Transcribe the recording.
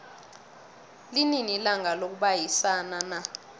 linini ilanga lokubayisana na